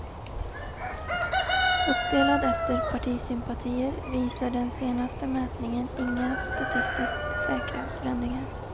Uppdelad efter partisympatier visar den senaste mätningen inga statistiskt säkra förändringar.